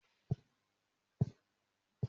Mò máa se oúnjẹ fún ọkọ ìyàwó.